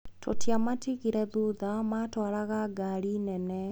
Tũtiamatigire thutha, matwaragia ngari nene.